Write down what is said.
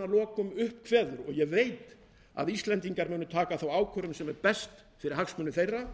lokum kveður upp og ég veit að íslendingar munu taka þá ákvörðun sem er best fyrir hagsmuni þeirra